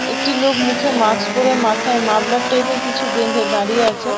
একটি লোক মুখে মাস্ক পড়ে মাথায় মাফলার টাইপ -এর কিছু বেঁধে দাঁড়িয়ে আছেন ।